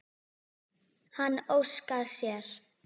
Hann óskar sér.